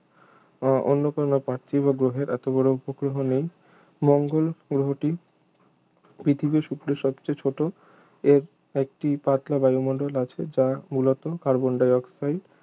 বা অন্য কোন পার্থিব গ্রহের এত বড় উপগ্রহ নেই মঙ্গল গ্রহটি পৃথিবী শুক্রের সবচেয়ে চেয়ে ছোট এর একটি পাতলা বায়ুমণ্ডল আছে যা মূলত কার্বন ডাই অক্সাইড